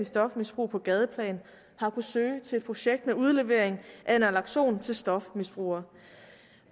stofmisbrug på gadeplan har kunnet søge til et projekt med udlevering af naloxone til stofmisbrugere